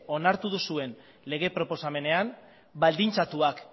onartu duzuen lege proposamenean baldintzatuak